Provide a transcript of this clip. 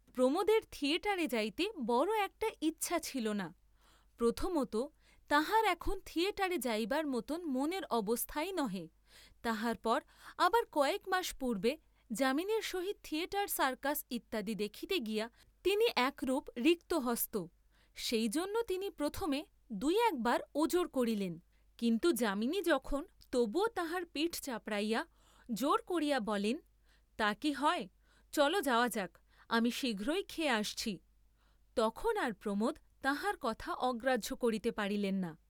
প্রমোদের থিয়েটারে যাইতে বড় একটা ইচ্ছা ছিল না, প্রথমতঃ তাঁহার এখন থিয়েটারে যাইবার মতন মনের অবস্থাই নহে, তাহার পর আবার কয়েক মাস পূর্ব্বে যামিনীর সহিত থিয়েটার সার্কাস ইত্যাদি দেখিতে গিয়া তিনি একরূপ রিক্তহস্ত, সেই জন্য তিনি প্রথমে দুই একবার ওজর করিলেন, কিন্তু যামিনী যখন তবুও তাঁহার পিঠ চাপড়াইয়া জোর করিয়া বলেন তা কি হয়, চল যাওয়া যাক, আমি শীঘ্রই খেয়ে আসছি, তখন আর প্রমোদ তাঁহার কথা অগ্রাহ্য করিতে পারিলেন না।